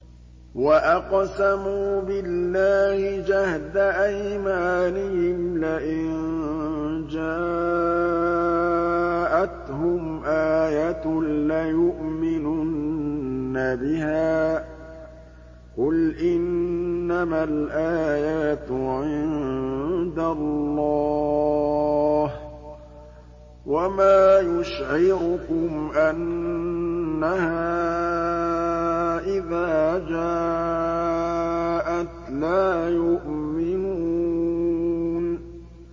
وَأَقْسَمُوا بِاللَّهِ جَهْدَ أَيْمَانِهِمْ لَئِن جَاءَتْهُمْ آيَةٌ لَّيُؤْمِنُنَّ بِهَا ۚ قُلْ إِنَّمَا الْآيَاتُ عِندَ اللَّهِ ۖ وَمَا يُشْعِرُكُمْ أَنَّهَا إِذَا جَاءَتْ لَا يُؤْمِنُونَ